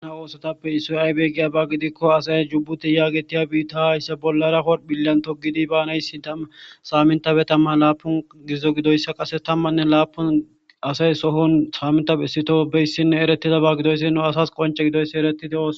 ana oosotappe issoy aybee giya ba gidikko asaya jubbuti yaagetiya biitta haayssa bollara horphillan togidi baanay saamintape tamman laapun gizzo gidoyssa qase tammanne laapun asay sohon saaminta bessito beyssinne erettida ba gidoyssi nu asas qonce gidoyssi eretito